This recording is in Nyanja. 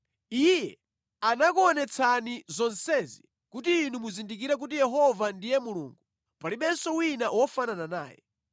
Iye anakuonetsani zonsezi kuti inu muzindikire kuti Yehova ndiye Mulungu, palibenso wina wofanana naye.